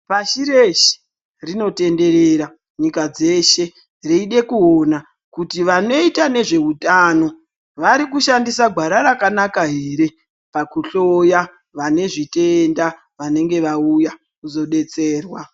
Pashi reshe rinotenderera nyika dzeshe dzeide kuona kuti vanoita nezveutano varikushandisa gwara rakanaka ere pakuhloya vanezvitenda vanenge vauya kuzodetserwa.